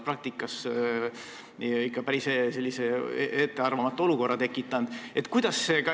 Praktikas oleks see ikka päris ettearvamatu olukorra tekitanud.